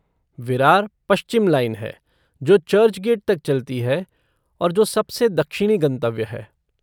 विरार पश्चिम लाइन है जो चर्चगेट तक चलती है और जो सबसे दक्षिणी गंतव्य है।